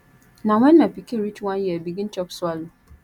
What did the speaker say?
na wen my pikin reach one year e begin chop swallow